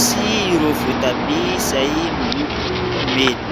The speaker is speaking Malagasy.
sy ireo voatabia izay miloko mena.